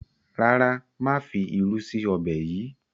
ràrá má fí ìrù sí Ọbẹ̀ yí.